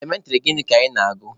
Elementịrị gịnị ka ị na-agụ?